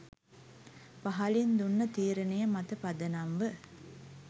පහලින් දුන්න තීරණය මත පදනම්ව